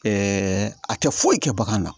a tɛ foyi kɛ bagan na